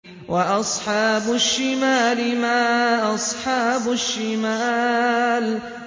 وَأَصْحَابُ الشِّمَالِ مَا أَصْحَابُ الشِّمَالِ